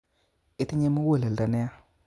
Itinye muguleldo neya